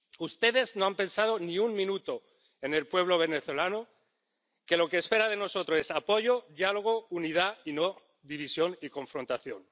Ustedes no han pensado ni un minuto en el pueblo venezolano, que lo que espera de nosotros es apoyo, diálogo, unidad, y no división y confrontación.